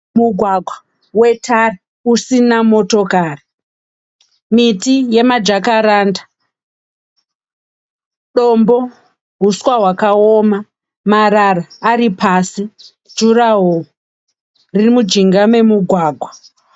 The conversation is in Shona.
Mugwagwa wetara usina motokari, miti yemajakaranda, dombo, huswa hwakaoma, marara ari pasi, jurahoro riri mujinga memugwagwa